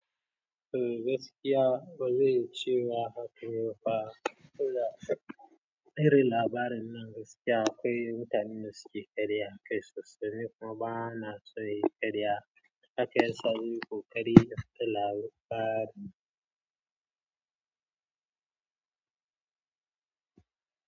Eh gaskiya bazai cewa haka ne fa. To da irin labarin nan gaskiya akwai mutanen dasuke ƙarya akai sosai, ni kuma bana son yin ƙarya haka yasa zan yi ƙoƙari in fita labari.